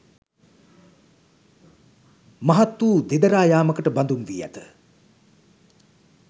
මහත් වූ දෙදරා යාමකට බඳුන් වී ඇත